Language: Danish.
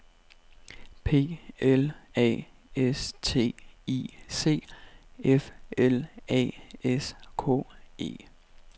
P L A S T I C F L A S K E